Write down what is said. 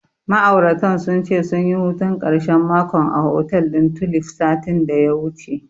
Ma'auratan sun ce, sunyi hutun ƙarshen makon a hotel ɗin Tulif, satin da ya wuce.